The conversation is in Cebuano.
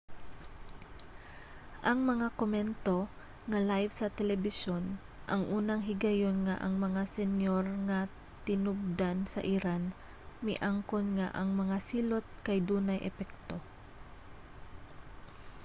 ang mga komento nga live sa telebisyon ang unang higayon nga ang mga senyor nga tinubdan sa iran miangkon nga ang mga silot kay dunay epekto